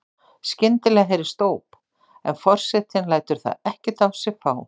Skyndilega heyrist óp en forsetinn lætur það ekkert á sig fá.